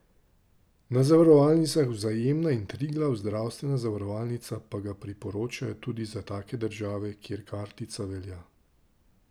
Na zavarovalnicah Vzajemna in Triglav zdravstvena zavarovalnica pa ga priporočajo tudi za take države, kjer kartica velja.